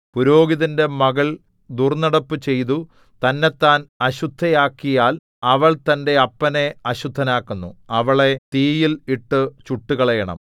പുരോഹിതന്റെ മകൾ ദുർന്നടപ്പ് ചെയ്തു തന്നെത്താൻ അശുദ്ധയാക്കിയാൽ അവൾ തന്റെ അപ്പനെ അശുദ്ധനാക്കുന്നു അവളെ തീയിൽ ഇട്ടു ചുട്ടുകളയണം